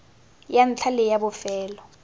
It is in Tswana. ya ntlha le ya bofelo